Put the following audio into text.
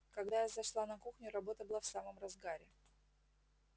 когда я зашла на кухню работа была в самом разгаре